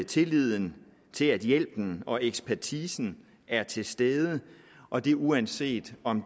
tilliden til at hjælpen og ekspertisen er til stede og det er uanset om